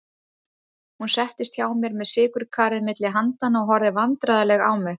Hún settist hjá mér með sykurkarið milli handanna og horfði vandræðaleg á mig.